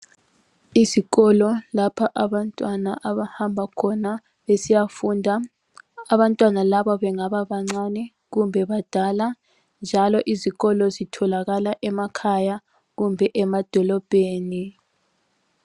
Isikolo lapha abantwana abahamba khona besiya funda, abantwana laba bengaba bancane kumbe badala njalo izikolo zitholakala emakhaya kumbe emadolobheni.